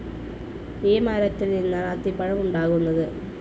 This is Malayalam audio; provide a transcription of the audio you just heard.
ഈ മരത്തിൽ നിന്നാണ് അത്തിപ്പഴം ഉണ്ടാകുന്നത്.